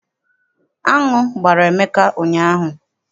Aṅụ gbara Emeka ụnyaahụ.